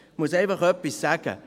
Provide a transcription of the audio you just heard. – Ich muss einfach etwas sagen.